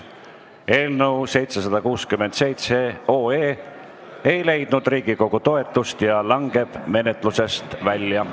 Eelnõu 767 ei leidnud Riigikogu toetust ja langeb menetlusest välja.